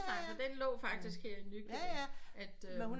Men den lå faktisk her i Nykøbing